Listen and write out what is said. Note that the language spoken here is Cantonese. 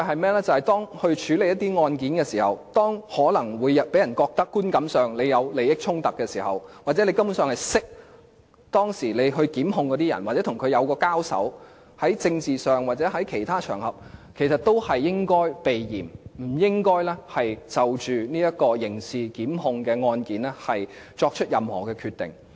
便是當律政司處理案件時，如果觀感上讓人覺得有利益衝突，或司長根本認識被檢控的人，或在政治上或其他場合曾經交手，也應該避嫌，不應該就刑事檢控案件作出任何決定。